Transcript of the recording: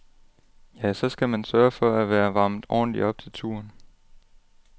Ja, så skal man sørge for, at være varmet ordentlig op til turen.